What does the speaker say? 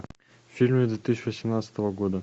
фильмы две тысячи восемнадцатого года